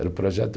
Era o projeto